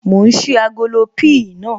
Mò ń ṣí agolo píì naa